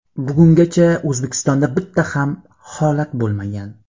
Bugungacha O‘zbekistonda bitta ham holat bo‘lmagan.